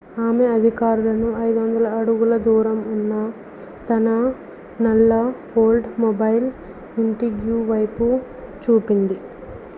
ఆమె అధికారులకు 500 అడుగుల దూరంలో ఉన్న తన నల్ల ఓల్డ్స్మొబైల్ ఇంట్రిగ్యూ వైపు చూపింది